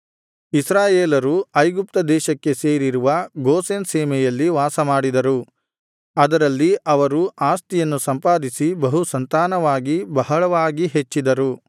ಇಸ್ರಾಯೇಲರು ಐಗುಪ್ತ ದೇಶಕ್ಕೆ ಸೇರಿರುವ ಗೋಷೆನ್ ಸೀಮೆಯಲ್ಲಿ ವಾಸಮಾಡಿದರು ಅದರಲ್ಲಿ ಅವರು ಆಸ್ತಿಯನ್ನು ಸಂಪಾದಿಸಿ ಬಹುಸಂತಾನವಾಗಿ ಬಹಳವಾಗಿ ಹೆಚ್ಚಿದರು